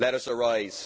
Let us arise'.